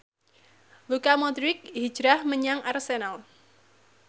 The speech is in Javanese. Luka Modric hijrah menyang Arsenal